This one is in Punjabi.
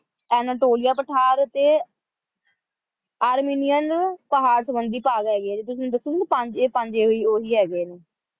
ਅਨਾਤੋਲਿਆ ਪਠਾਰ ਤੇ ਅਮੇਨੀਅਨ ਪਹਾੜ ਸੰਬੰਧੀ ਭਾਗ ਹੈਗੇ ਹੈ ਜਿਹੜੇ ਤੁਸੀਂ ਮੈਨੂੰ ਦੱਸੇ ਸੀ ਨਾ ਪੰਜ ਹੀ ਹੈਗੇ ਆ ਇਹ